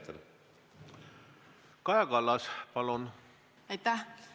Kaja Kallas, palun!